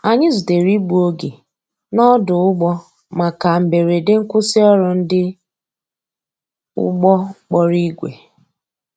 Anyi zutere igbụ oge n' odu‐ụgbọ maka mgberede nkwụsi ọrụ ndi ụgbọ kpọrọ igwe